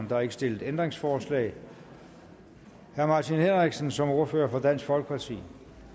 der er ikke stillet ændringsforslag herre martin henriksen som ordfører for dansk folkeparti